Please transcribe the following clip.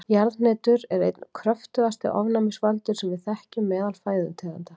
Jarðhnetur eru einn kröftugasti ofnæmisvaldur sem við þekkjum meðal fæðutegunda.